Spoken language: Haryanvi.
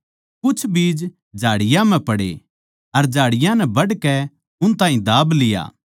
कुछ बीज झाड़ियाँ म्ह पड़े अर झाड़ियाँ नै बढ़कै उस ताहीं दाब लिया